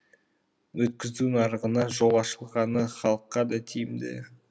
өткізу нарығына жол ашылғаны халыққа да тиімді